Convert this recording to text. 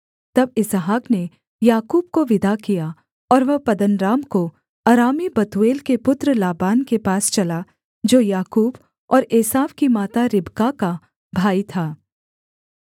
तब इसहाक ने याकूब को विदा किया और वह पद्दनराम को अरामी बतूएल के पुत्र लाबान के पास चला जो याकूब और एसाव की माता रिबका का भाई था